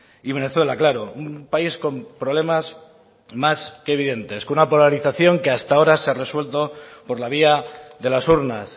y venezuela claro un país con problemas más que evidentes con una polarización que hasta ahora se ha resuelto por la vía de las urnas